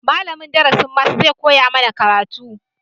Malamin darasin maths zai koya mana karatu